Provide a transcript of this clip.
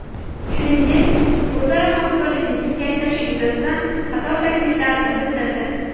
Shuningdek, o‘zaro hamkorlikni kengaytirish yuzasidan qator takliflarini bildirdi.